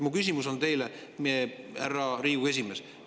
Mu küsimus teile, härra Riigikogu esimees, on see.